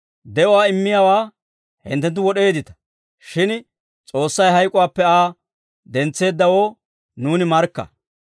De'uwaa immiyaawaa hinttenttu wod'eeddita; shin S'oossay hayk'uwaappe Aa dentseeddawoo nuuni markka.